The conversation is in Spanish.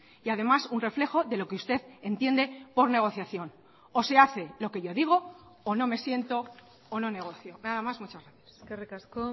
y además un reflejo de lo que usted entiende por negociación o se hace lo que yo digo o no me siento o no negocio nada más muchas gracias eskerrik asko